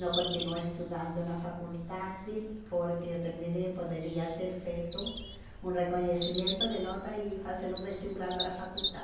Não continuo estudando na faculdade porque eu terminei e poderia ter feito um reconhecimento de nota e fazer um vestibular para a faculdade.